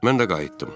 Mən də qayıtdım.